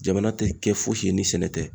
Jamana tɛ kɛ fosi ye ni sɛnɛ tɛ.